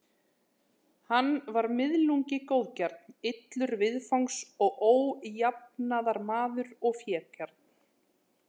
Hann var miðlungi góðgjarn, illur viðfangs og ójafnaðarmaður og fégjarn.